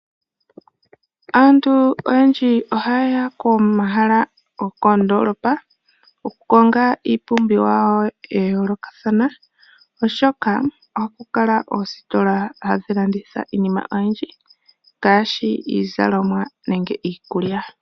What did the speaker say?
Aantu oyendji oha yeya komahala gokoondolopa, oku konga iipumbiwa yawo ya yoolokathana oshoka ohaku kala oositola hadhi landitha iinima oyindji ngaashi iizalomwa nenge iikulya.